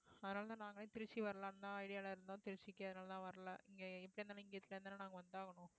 அதனாலதான் நாங்களே திருச்சி வரலான்னுதான் idea ல இருந்தோம் திருச்சிக்கு அதனால தான் வரலை இங்க இருந்துதானே நாங்க வந்தாகணும்